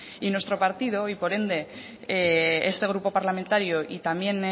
y nuestro partido y por ende este grupo parlamentario y también